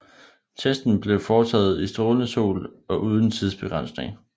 Testen blev foretaget i strålende sol og uden tidsbegrænsning